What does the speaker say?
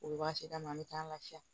U bɛ waati d'a ma an bɛ taa an lafiya